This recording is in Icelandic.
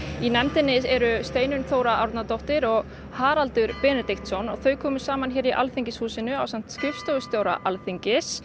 í nefndinni eru Steinunn Þóra Árnadóttir og Haraldur Benediktsson þau komu saman hér í Alþingishúsinu ásamt skrifstofustjóra Alþingis